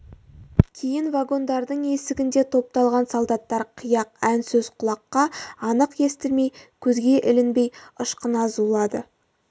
кейін вагондардың есігінде топталған солдаттар қияқ ән сөз құлаққа анық естілмей көзге ілінбей ышқына зулады